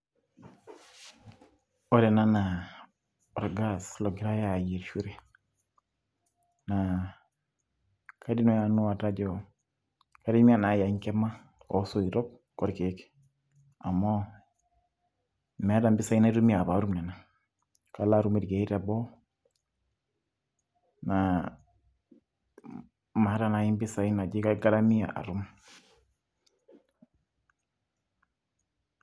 ore ena naa orgas ogirae aayierishore .naa kaidim naaji nanu atejo kaitumia enkima oosoitok orkeek, amu meeta impisai anitumia pee atum nena, kalo atum irkeek teboo, naa maata naaji impisai naaji kaigarmia atum.